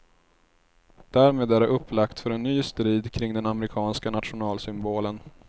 Därmed är det upplagt för en ny strid kring den amerikanska nationalsymbolen.